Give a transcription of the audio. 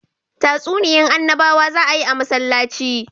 Tatsuniyan annabawa za a yi a masallaci